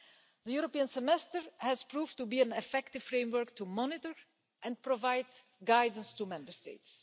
The European Semester has proved to be an effective framework to monitor and provide guidance to Member States.